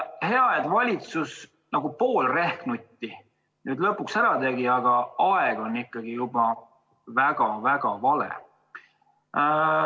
Hea, et valitsus nagu pool rehnutit nüüd lõpuks ära tegi, aga aeg on ikkagi juba väga-väga vale.